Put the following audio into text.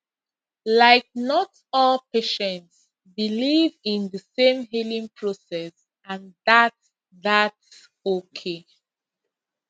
like not all patients believe in the same healing process and thats thats okay